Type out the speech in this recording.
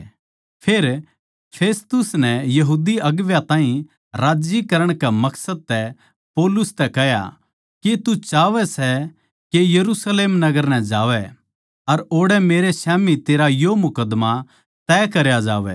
फेर फेस्तुस नै यहूदी अगुवां ताहीं राज्जी करण के मकसद तै पौलुस तै कह्या के तू चाहवै सै के यरुशलेम नगर नै जावै अर ओड़ै मेरै स्याम्ही तेरा यो मुकद्दमा तय करया जावै